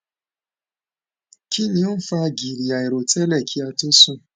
kinni o n fa giri airotele ki a tó sùn